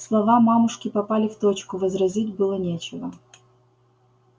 слова мамушки попали в точку возразить было нечего